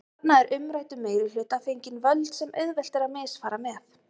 Þarna er umræddum meirihluta fengin völd sem auðvelt er að misfara með.